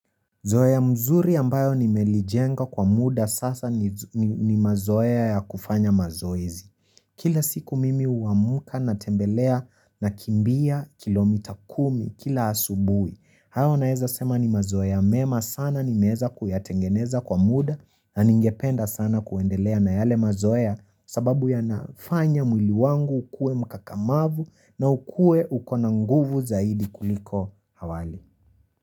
Zoeya mzuri ambayo nimelijenga kwa muda sasa ni mazoea ya kufanya mazoezi kila siku mimi uamuka natembelea nakimbia kilomita kumi kila hasubui hayo naeza sema ni mazoea mema sana nimeeza kuyatengeneza kwa muda na ningependa sana kuendelea na yale mazoea sababu yanafanya mwili wangu ukue mkakamavu na ukue uko na nguvu zaidi kuliko hawali.